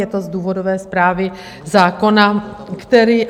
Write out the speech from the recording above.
Je to z důvodové zprávy zákona, který...